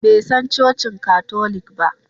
Bai san cocin katolik ba?